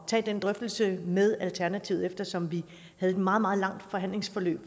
tage den drøftelse med alternativet eftersom vi havde et meget meget langt forhandlingsforløb